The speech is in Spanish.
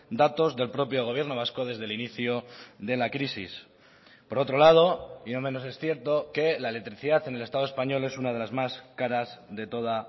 datos del propio gobierno vasco desde el inicio de la crisis por otro lado y no menos es cierto que la electricidad en el estado español es una de las más caras de toda